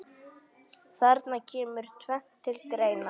Þarna kemur tvennt til greina.